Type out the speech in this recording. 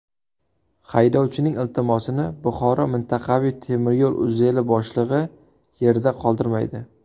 Haydovchining iltimosini Buxoro mintaqaviy temiryo‘l uzeli boshlig‘i yerda qoldirmaydi.